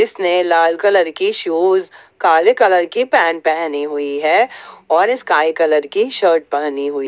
उसने लाल कलर की शूज काले कलर की पैंट पहनी हुई है और इस स्काई कलर की शर्ट पहनी हुई है।